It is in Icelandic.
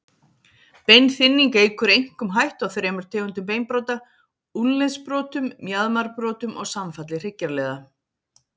Beinþynning eykur einkum hættu á þremur tegundum beinbrota, úlnliðsbrotum, mjaðmarbrotum og samfalli hryggjarliða.